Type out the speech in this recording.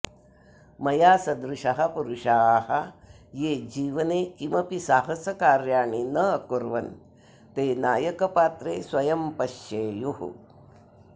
मया सदृशः पुरुषाः ये जीवने किमपि साहसकार्याणि न अकुर्वन् ते नायकपात्रे स्वयं पश्येयुः